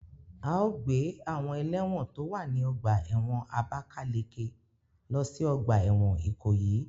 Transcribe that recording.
A o gbe awon elewon to wa ni ọgba ẹ́wọ̀n Abakaleke lo si ọgba ẹ́wọ̀n Ikoyi